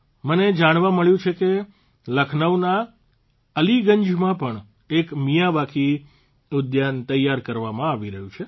મને જાણવા મળ્યું છે કે લખનૌના અલીગંજમાં પણ એક મિયાવાકી ઉદ્યાન તૈયાર કરવામાં આવી રહ્યું છે